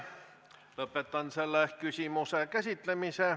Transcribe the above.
Lõpetan selle küsimuse käsitlemise.